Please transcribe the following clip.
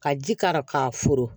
Ka ji k'a la k'a furan